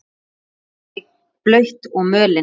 Malbik blautt og mölin.